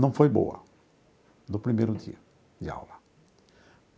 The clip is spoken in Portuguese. não foi boa no primeiro dia de aula.